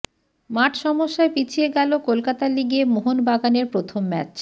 মাঠ সমস্যায় পিছিয়ে গেল কলকাতা লিগে মোহনবাগানের প্রথম ম্যাচ